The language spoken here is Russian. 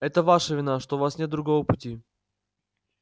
это ваша вина что у вас нет другого пути